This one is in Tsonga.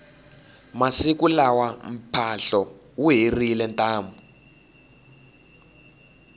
masiku lawa mphahlo wu herile ntamu